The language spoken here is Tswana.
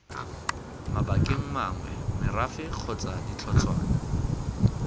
mabakeng mangwe merafe kgotsa ditlhotshwana